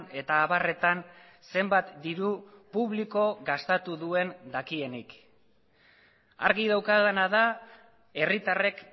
eta abarretan zenbat diru publiko gastatu duen dakienik argi daukadana da herritarrek